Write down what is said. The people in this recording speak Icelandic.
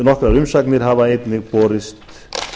nokkrar umsagnir hafa einnig borist